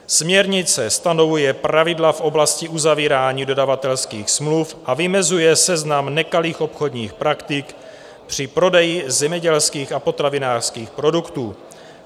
Směrnice stanovuje pravidla v oblasti uzavírání dodavatelských smluv a vymezuje seznam nekalých obchodních praktik při prodeji zemědělských a potravinářských produktů.